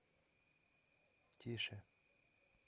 тише